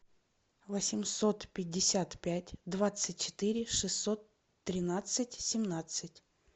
восемьсот пятьдесят пять двадцать четыре шестьсот тринадцать семнадцать